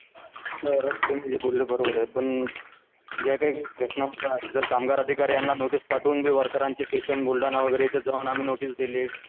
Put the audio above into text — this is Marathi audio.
सर तुम्ही जे बोलले ते बरोबर आहे पण ज्या काही घटना होतात तर कामगार अधिकारी यांना नोटीस पाठवून देऊ वर्करांची जाऊन आम्ही नोटीस दिली.